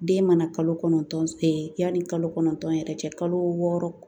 Den mana kalo kɔnɔntɔn yani kalo kɔnɔntɔn yɛrɛ cɛ kalo wɔɔrɔ